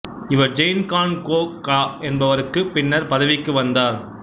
இவர் ஜெய்ன் கான் கோகா என்பவருக்குப் பின்னர் பதவிக்கு வந்தார்